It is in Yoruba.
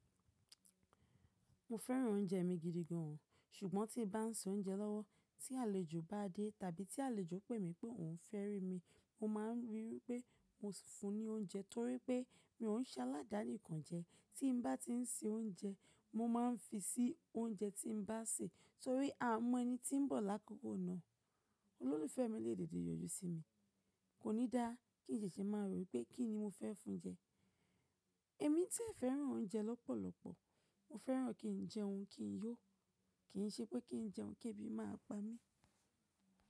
Mo fẹ́ràn oúnjẹ mi gidi gan an, ṣùgbọ́n tí n bá ń se oúnjẹ lọ́wọ́ tí àlejò bá dé tàbí tí àlejò pé mi pé ohun fẹ́ rí mi, mo ma ríi wípé mo si fún un ní oúnjẹ torí pé mi ò ń se aládàáni kan jẹ. Tí n bá ti ń se oúnjẹ, mo máa ń fi sí oúnjẹ tí n bá se torí a mọ ẹni tí ń bọ̀ lákòókò náà. Olólùfẹ́ mi lè deede yọjú sí mi, kò ní dá kín sèṣẹ́ máa rò wípé kí ni mo fẹ́ fún un jẹ. Èmi tí ẹ̀ fẹ́ran oúnjẹ lọ́pọ̀lọpọ̀, mo fẹ́ran kí n jẹun kí n yó, kì ń ṣe pé kí n jẹun kébì má a pa mí.